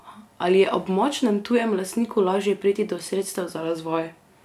Ali je ob močnem tujem lastniku lažje priti do sredstev za razvoj?